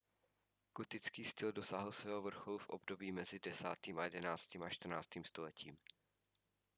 gotický styl dosáhl svého vrcholu v období mezi 10.–11. a 14. stoletím